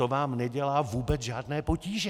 To vám nedělá vůbec žádné potíže.